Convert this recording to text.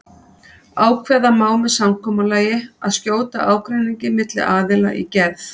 Ákveða má með samkomulagi að skjóta ágreiningi milli aðila í gerð.